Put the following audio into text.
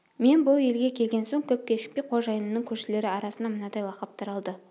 мен бұл елге келген соң көп кешікпей қожайынымның көршілері арасында мынадай лақап таралды